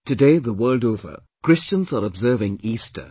Today, the world over, Christians are observing Easter